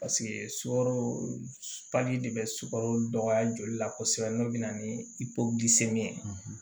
sukaro de be sukaro dɔgɔya joli la kosɛbɛ n'o bɛna ni ye